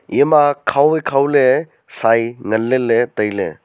ema khao wai khao le sai ngan lele taile.